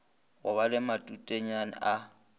go ba le matutenyana a